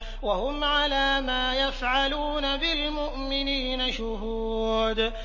وَهُمْ عَلَىٰ مَا يَفْعَلُونَ بِالْمُؤْمِنِينَ شُهُودٌ